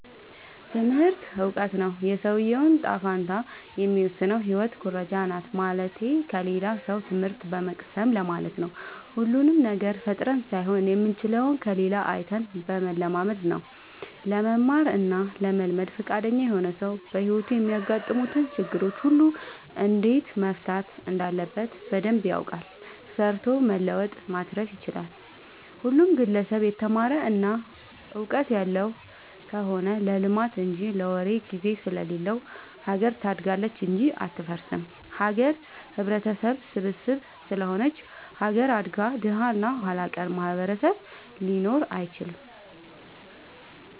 ትምህርቱ እውቀቱ ነው። የሰውዬውን ጣፈንታ የሚወስነው ህይወት ኩረጃናት ማለትቴ ከሌላ ሰው ትምህት በመቅሰም ለማለት ነው። ሁሉንም ነገር ፈጥረን ሳይሆን የምንችለው ከሌላ አይተን በመለማመድ ነው። ለመማር እና ለመልመድ ፍቃደኛ የሆነ ሰው በህይወቱ የሚያጋጥሙትን ችግሮች ሁሉ እንዴት መፍታት እንዳለበት በደንብ ያውቃል ሰርቶ መለወጥ ማትረፍ ይችላል። ሁሉም ግለሰብ የተማረ እና ውቀጥት ያለው ከሆነ ለልማት እንጂ ለወሬ ግዜ ስለሌለው ሀገር ታድጋለች እንጂ አትፈርስም። ሀገር ህብረተሰብ ስብስብ ስለሆነች ሀገር አድጋ ደሀ እና ኋላቀር ማህበረሰብ ሊኖር አይችልም።